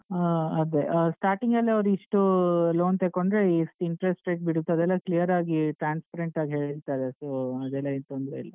ಆ ಅದೆ ಆ starting ಅಲ್ಲೇ ಅವ್ರು ಇಷ್ಟೂ loan ತಕೊಂಡ್ರೆ ಇಷ್ಟು interest rate ಬೀಳುತ್ತೆ ಅದೆಲ್ಲಾ clear ಆಗಿ transparent ಆಗಿ ಹೇಳ್ತಾರೆ so ಅದೆಲ್ಲ ಏನ್ ತೊಂದ್ರೆಯಿಲ್ಲ.